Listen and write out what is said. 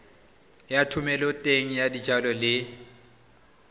ya thomeloteng ya dijalo le